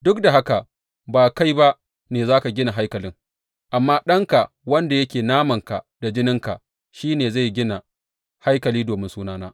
Duk da haka, ba kai ba ne za ka gina haikalin, amma ɗanka wanda yake namanka da jininka, shi ne wanda zai gina haikali domin Sunana.’